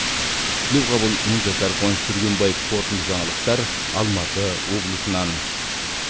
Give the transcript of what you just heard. тілеуқабыл мыңжасар қуаныш түргенбаев қорытынды жаңалықтар алматы облысынан